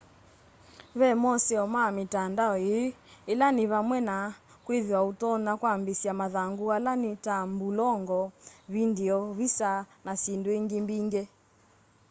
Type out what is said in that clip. ve moseo ma mitandao ii ila ni vamwe na kwithiwa utonya kwambiisya mathangu ala ni ta mbulongo vindio visa na syindu ingi mbingi